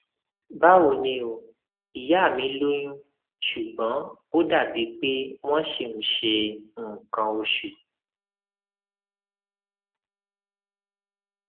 báwo ni o ìyá mi lóyún ṣùgbọn ó dàbí pé wọn ṣì ń ṣe nǹkan oṣù